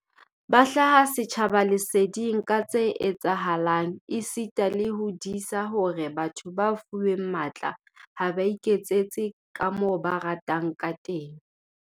Ba hlaha setjhaba leseding ka tse etsahalang esita le ho disa hore batho ba fuweng matla ha ba iketsetse kamoo ba ratang ka teng.